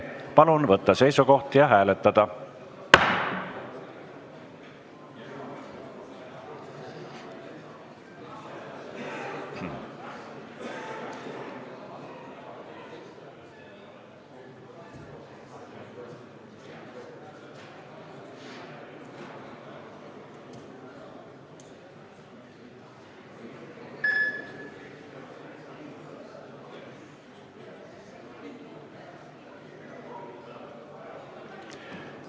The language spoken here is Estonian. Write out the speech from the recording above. Palun võtta seisukoht ja hääletada!